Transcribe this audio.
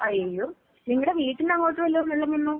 അയ്യോ, നിങ്ങടെ വീട്ടിന്റെ അങ്ങോട്ട് വല്ലോം വെള്ളം വന്നോ?